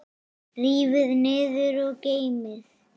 Rífið niður og geymið.